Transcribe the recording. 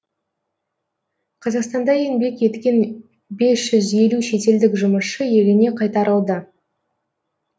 қазақстанда еңбек еткен бес жүз елу шетелдік жұмысшы еліне қайтарылды